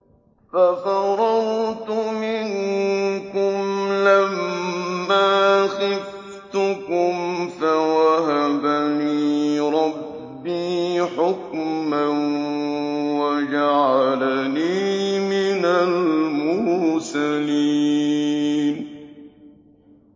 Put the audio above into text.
فَفَرَرْتُ مِنكُمْ لَمَّا خِفْتُكُمْ فَوَهَبَ لِي رَبِّي حُكْمًا وَجَعَلَنِي مِنَ الْمُرْسَلِينَ